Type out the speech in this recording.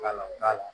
Ka na